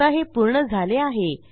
आता हे पूर्ण झाले आहे